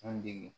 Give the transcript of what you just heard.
An dege